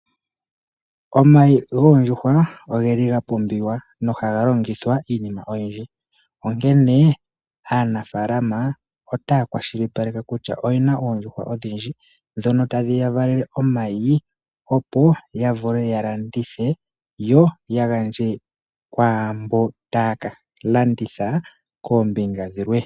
Omayi goondjuhwa oga pumbiwa nogaga longithwa iinima oyindji. Aanafalama otaya kwashilipaleke kutya oyena oondjuhwa odhindji ndhono tadhi ka vala omayi, opo ya vule yalandithe kwaamboka taya gandja kwaambono taya kalanditha koombinga dhilwe.